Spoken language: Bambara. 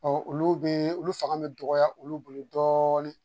olu bɛ olu fanga bɛ dɔgɔya olu bolo dɔɔnin